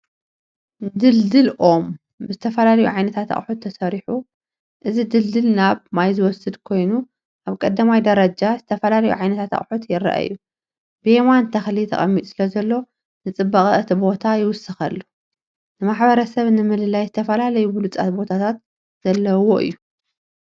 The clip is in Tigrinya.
ድልድል ኦም ብዝተፈላለዩ ዓይነታት ኣቑሑት ተሰሪሑ። እዚ ድልድል ናብ ማይ ዝወስድ ኮይኑ ኣብ ቀዳማይ ደረጃ ዝተፈላለዩ ዓይነታት ኣቑሑት ይረኣዩ። ብየማን ተኽሊ ተቐሚጡ ስለዘሎ፡ ንጽባቐ እቲ ቦታ ይውስኸሉ። ንማሕበረሰብ ንምልላይ ዝተፈላለዩ ብሉፃት ቦታታት ዘለዎ እዩ።